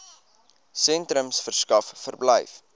sentrums verskaf verblyf